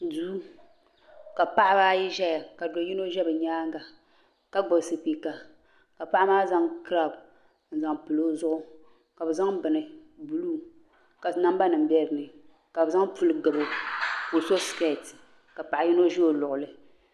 Duu ka paɣaba ayi ʒɛya ka do yino ʒɛ bi nyaanga ka gbubi spiika ka paɣa maa zaŋ kiraaw n zaŋ pili o zuɣu ka bi zaŋ bini buluu ka namba nim bɛ dinni ka bi zaŋ puli gabo ka o so skɛt ka paɣa yino ʒi o luɣuli